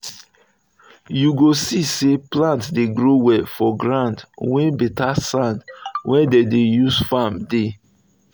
you go see say plant dey grow well for ground wey better sand wey dem dey use farm dey.